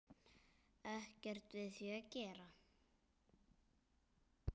Ekkert við því að gera.